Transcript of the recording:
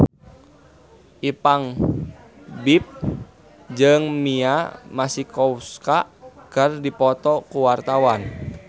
Ipank BIP jeung Mia Masikowska keur dipoto ku wartawan